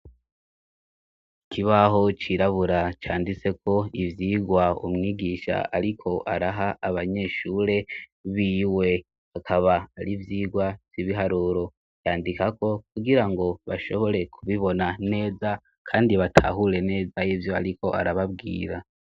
Ikibaho cirabura canditseko ivyigwa umwigisha ariko araha abanyeshure biwe, akaba ari ivyigwa vy'ibiharuro yandikako, kugirango bashobore kubibona neza kandi batahure neza ivyo ariko arababwira.